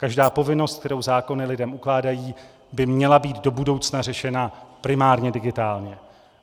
Každá povinnost, kterou zákony lidem ukládají, by měla být do budoucna řešena primárně digitálně.